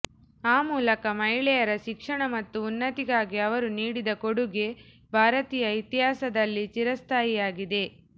ಆ ಮೂಲಕ ಮಹಿಳೆಯರ ಶಿಕ್ಷಣ ಮತ್ತು ಉನ್ನತಿಗಾಗಿ ಅವರು ನೀಡಿದ ಕೊಡುಗೆ ಭಾರತೀಯ ಇತಿಹಾಸದಲ್ಲಿ ಚಿರಸ್ಥಾಯಿಯಾಗಿದೆ